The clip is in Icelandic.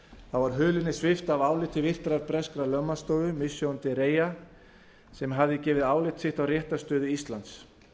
þá var hulunni svipt af áliti virtrar breskrar lögmannsstofu mishcon de reya sem hafði gefið álit sitt á réttarstöðu íslands